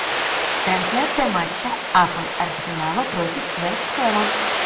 трансляция матча апл арсенала против вест хэма